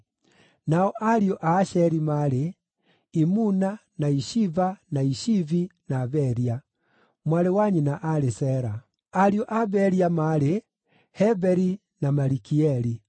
Nao Ariũ a Asheri maarĩ: Imuna, na Ishiva, na Ishivi, na Beria. Mwarĩ wa nyina aarĩ Sera. Ariũ a Beria maarĩ: Heberi na Malikieli.